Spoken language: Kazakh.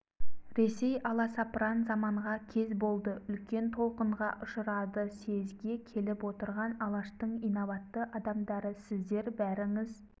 ресей аласапыран заманға кез болды үлкен толқынға ұшырады съезге келіп отырған алаштың инабатты адамдары сіздер бәріңіз